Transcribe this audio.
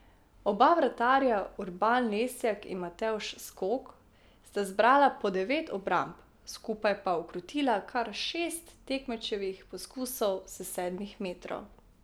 Oba vratarja, Urban Lesjak in Matevž Skok, sta zbrala po devet obramb, skupaj pa ukrotila kar šest tekmečevih poskusov s sedmih metrov.